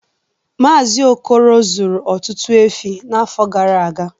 Mazi Okoro zụrụ ọtụtụ efi n'afọ gara aga